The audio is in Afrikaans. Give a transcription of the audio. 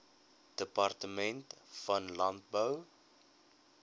departement van landbou